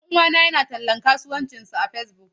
Ɗan uwana yana tallan kasuwancinsa a Facebook.